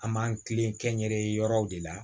An b'an kilen kɛn yɛrɛ ye yɔrɔw de la